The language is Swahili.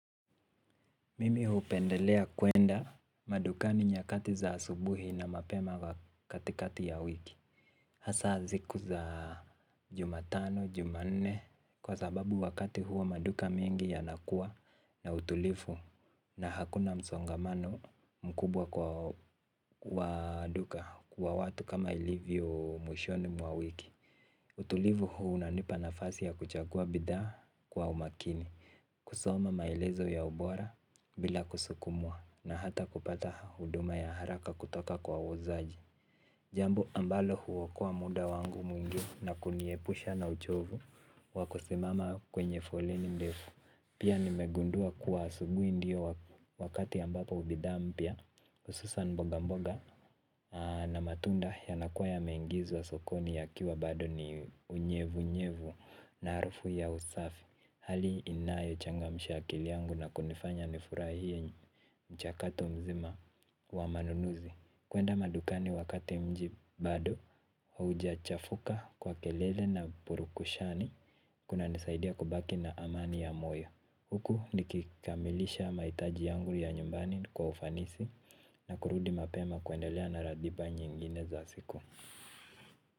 Mimi hupendelea kuenda madukani nyakati za asubuhi na mapema katikati ya wiki. Hasa ziku za jumatano, jumanne kwa sababu wakati huo maduka mingi yanakua na utulifu na hakuna msongamano mkubwa kwa duka kwa watu kama ilivyo mwishoni mwa wiki. Utulivu huu unanipa nafasi ya kuchagua bidhaa kwa umakini, kusoma maelezo ya ubora bila kusukumwa na hata kupata huduma ya haraka kutoka kwa uzaji. Jambo ambalo huokoa muda wangu mwingi na kuniepusha na uchovu wakosimama kwenye foleni ndefu. Pia nimegundua kuwa asubui ndio wakati ambapo ubidha mpya ususan mboga mboga na matunda yanakuwa yameingizwa sokoni yakiwa bado ni unyevu unyevu na arufu ya usafi. Hali inayo changamsha akili yangu na kunifanya nifurai hiyo mchakato mzima wa manunuzi. Kuenda madukani wakati mji bado, hauja chafuka kwa kelele na purukushani. Kuna nisaidia kubaki na amani ya moyo. Huku nikikamilisha maitaji yangu ya nyumbani kwa ufanisi. Na kurudi mapema kuendelea na radiba nyingine za siku.